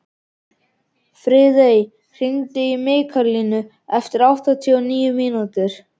Friðey, hringdu í Mikkalínu eftir áttatíu og níu mínútur.